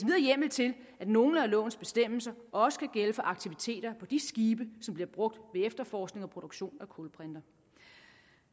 hjemmel til at nogle af lovens bestemmelser også kan gælde for aktiviteter på de skibe som bliver brugt ved efterforskning og produktion af kulbrinter